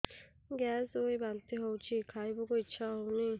gas ହୋଇ ବାନ୍ତି ହଉଛି ଖାଇବାକୁ ଇଚ୍ଛା ହଉନି